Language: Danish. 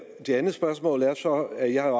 så at jeg